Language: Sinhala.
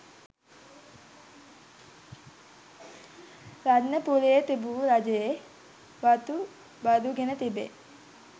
රත්නපුරේ තිබූ රජයේ වතු බදුගෙන තිබේ.